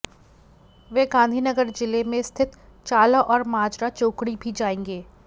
वह गांधीनगर जिले में स्थित चाला और माजरा चोकड़ी भी जाएंगे